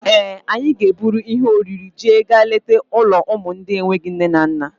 Ee, anyị ga-eburu ihe oriri iji gaa leta ụlọ ụmụ ndị enweghịzị nne na nna.